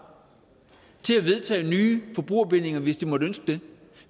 til at vedtage nye forbrugerbindinger hvis de måtte ønske det